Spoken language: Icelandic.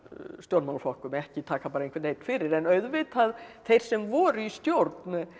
stjórnmálaflokkum ekki taka bara einhvern einn fyrir en auðvitað þeir sem voru í stjórn